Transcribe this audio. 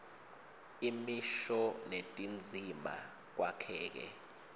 imisho netindzima kwakheke